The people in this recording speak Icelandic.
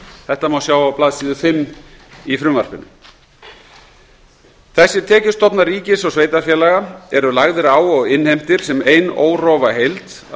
þetta má sjá á blaðsíðu fimm í frumvarpinu þessir tekjustofnar ríkis og sveitarfélaga eru lagðir á og innheimtir sem ein órofa heild að